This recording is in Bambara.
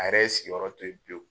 A yɛrɛ ye sigiyɔrɔ to ye pewu.